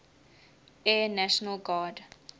air national guard